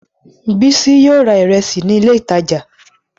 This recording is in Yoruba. Bísí yóò ra ìrẹsì ní ilé-ìtajà.